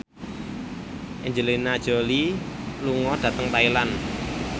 Angelina Jolie lunga dhateng Thailand